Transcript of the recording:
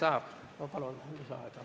Aitäh!